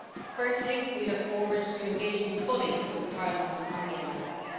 Firstly, we look forward to engaging fully with the Parliament on the MFF.